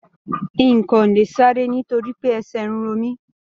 N ko le sáré nitoripe ẹsẹ n ro mí.